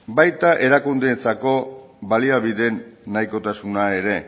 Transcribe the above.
baita erakundeentzako baliabideen nahikotasuna ere